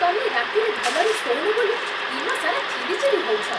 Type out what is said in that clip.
ତମେ ରାତିରେ ଭଲରେ ଶୋଉନ ବୋଲି ଦିନସାରା ଚିଡ଼ିଚିଡ଼ି ହଉଛ ।